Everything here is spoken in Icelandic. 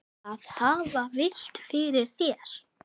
Að hafa vit fyrir þér?